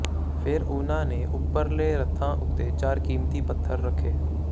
ਫ਼ੇਰ ਉਨ੍ਹਾਂ ਨੇ ਉੱਪਰਲੇ ਰੱਥਾਂ ਉੱਤੇ ਚਾਰ ਕੀਮਤੀ ਪੱਥਰ ਰੱਖੇ